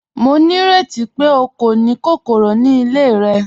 Mo ní rẹti pe o kò ni kòkòrò ni ilẹ̀ rẹ?